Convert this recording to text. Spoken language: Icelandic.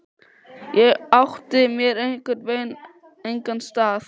Ég átti mér einhvern veginn engan stað.